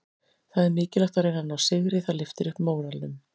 Það er mikilvægt að reyna að ná sigri, það lyftir upp móralnum.